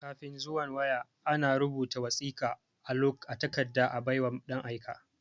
Kafin zuwan waya,a na rubuta wasiƙa a takarda a bai wa ɗan aika.